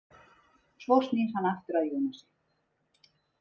Svo snýr hann sér aftur að Jónasi.